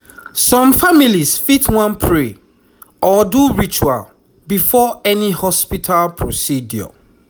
some families fit wan pray or do ritual before any hospital procedure